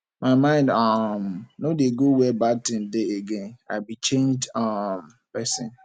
my mind um no dey go where bad thing dey again i be changed um person